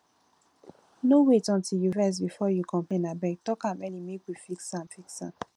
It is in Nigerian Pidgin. no wait until you vex before you complain abeg talk am early make we fix am fix am